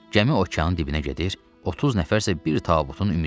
Gəmi okeanın dibinə gedir, 30 nəfər isə bir tabutun ümidinə qalır.